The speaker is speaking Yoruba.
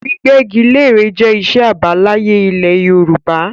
Gbígbẹ́gilẹ́re jẹ́ iṣẹ́ àbáláyé ilẹ̀ Yorùbá